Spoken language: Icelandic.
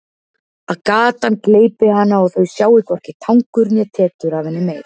Að gatan gleypi hana og þau sjái hvorki tangur né tetur af henni meir.